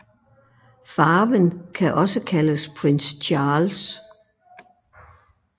Farven kan også kaldes Prince Charles